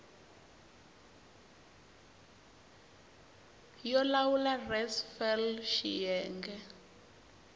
yo lawula res fal xiyenge